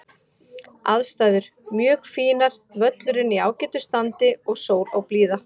Aðstæður: Mjög fínar, völlurinn í ágætu standi og sól og blíða.